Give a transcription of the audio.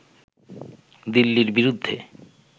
দিল্লীর বিরুদ্ধে